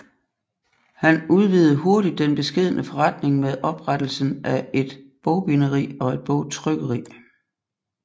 Han udvidede hurtigt den beskedne forretning med oprettelsen af et et bogbinderi og et bogtrykkeri